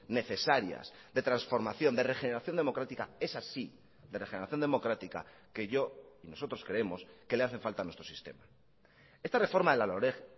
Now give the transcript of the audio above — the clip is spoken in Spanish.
necesarias de transformación de regeneración democrática es así de regeneración democrática que yo y nosotros creemos que le hace falta a nuestro sistema esta reforma de la loreg